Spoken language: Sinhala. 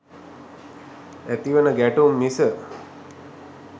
ඇතිවන ගැටුම් මිස.